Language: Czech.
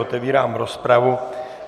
Otevírám rozpravu.